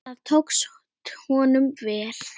Það tókst honum vel.